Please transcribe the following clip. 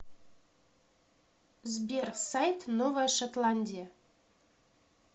сбер сайт новая шотландия